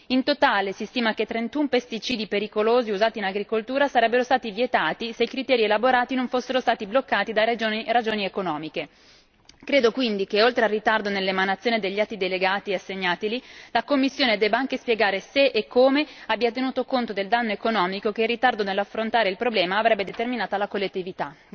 In totale, si stima che 31 pesticidi pericolosi usati in agricoltura sarebbero stati vietati se i criteri elaborati non fossero stati bloccati da ragioni economiche. Credo quindi che, oltre al ritardo nell'emanazione degli atti delegati assegnatigli, la Commissione debba anche spiegare se e come abbia tenuto conto del danno economico che il ritardo nell'affrontare il problema avrebbe determinato alla collettività.